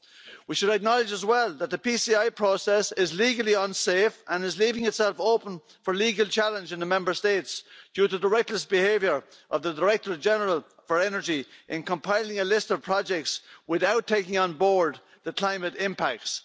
We should acknowledge, as well, that the PCI process is legally unsafe and is leaving itself open for legal challenge in the Member States due to the reckless behaviour of the Director-General for Energy in compiling a list of projects without taking on board the climate impacts.